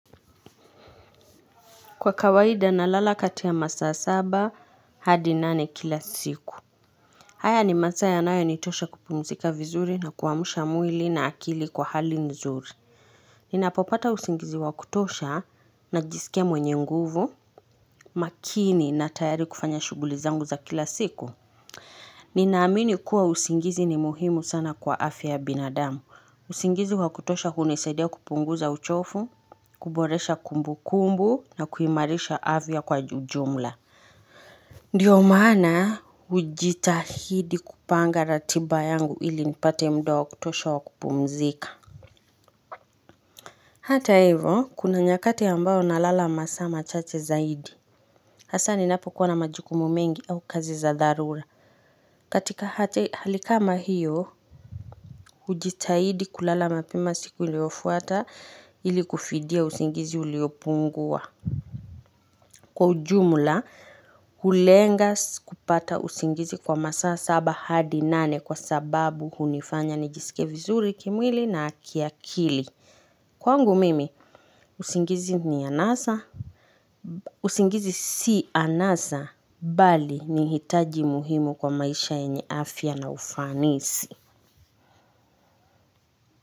Kwa kawaida na lala katia masaa saba, hadi nane kila siku. Haya ni masaa yanayo nitosha kupumzika vizuri na kuwamusha mwili na akili kwa hali nzuri. Ninapopata usingizi wakutosha najisikia mwenye nguvu, makini na tayari kufanya shuguli zangu za kila siku. Ninaamini kuwa usingizi ni muhimu sana kwa afya ya binadamu. Usingizi wa kutosha hunisaidia kupunguza uchofu, kuboresha kumbu kumbu na kuimarisha afya kwa ujumla. Ndiyo maana ujitahidi kupanga ratiba yangu ili nipate muda wa kutosha wa kupumzika. Hata hivo kuna nyakati ambayo nalala masaa machache zaidi. Hasa ninapo kuwana majukumu mengi au kazi za dharura. Katika hali kama hiyo ujitahidi kulala mapema siku iliofuata ili kufidia usingizi uliopungua. Kwa ujumula hulenga kupata usingizi kwa masaa saba hadi nane kwa sababu hunifanya nijisike vizuri kimwili na kiakili. Kwangu mimi, usingizi ni anasa. Usingizi si anasa, bali ni hitaji muhimu kwa maisha yenye afya na ufanisi.